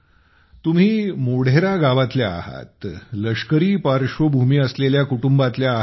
तुम्ही मोढेरा गावातल्या आहात लष्करी पार्श्वभूमी असलेल्या कुटुंबातल्या आहात